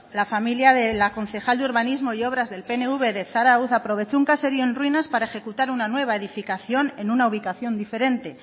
la familia de la concejala de urbanismo y obras del pnv de zarautz aprovechó un caserío en ruinas para ejecutar una nueva edificación en una ubicación diferente